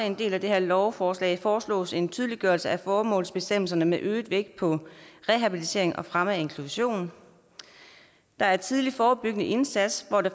en del af det her lovforslag foreslås en tydeliggørelse af formålsbestemmelserne med øget vægt på rehabilitering og fremme af inklusion der er tidlig forebyggende indsats hvor det